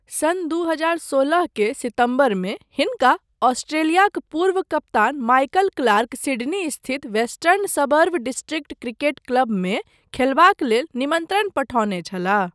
सन् दू हजार सोलह के सितम्बरमे हिनका अस्ट्रेलियाक पुर्व कप्तान माइकल क्लार्क सिड्नी स्थित वेस्टर्न सबअर्व डिस्ट्रिक्ट क्रिकेट क्लबमे खेलबाक लेल निमन्त्रण पठौने छलाह।